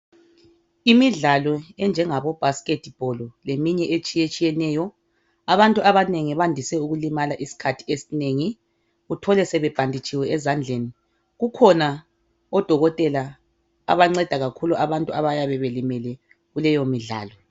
Imidlalo enje ngabo bhasikhethi bholo leminye etshiyetshiyeneyo Abantu abanengi bayandise ukulimala iskhathi esinengi, uthole sebebhanditshiwe ezandleni. Kukhona odokotela abanceda kakhulu abantu ababelimele kuleyo midlali.